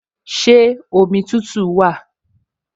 Ṣé omi tútù wà?